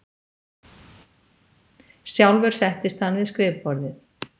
Sjálfur settist hann við skrifborðið.